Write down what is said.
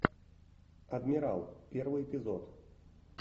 адмирал первый эпизод